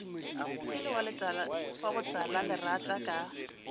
e le wa botalalerata ka